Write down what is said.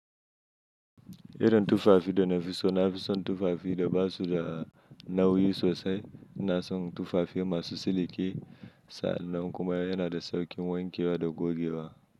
Irin tufafi da nafi so nafi son tufafi da basu da nauyi sosai na son tufafi masu siliki sa'an nan kuma yana da sauƙin wanke wa da goge wa.